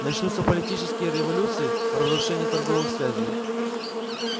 начнутся политические революции разрушение торговых связей